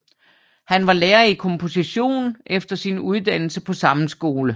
Han var lærer i komposition efter sin uddannelse på samme skole